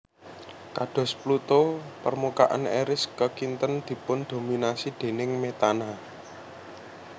Kados Pluto permukaan Eris kakinten dipundhominasi déning metana